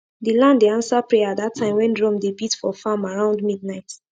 the land dey answer prayer that time when drum dey beat for farm around midnight